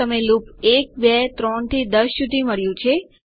તમને લૂપ 123 થી 10 સુધી મળ્યું છે